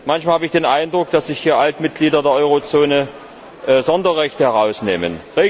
Manchmal habe ich den Eindruck, dass sich hier Alt Mitglieder der Eurozone Sonderrechte herausnehmen.